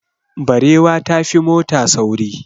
Barewa ta fi mota sauri.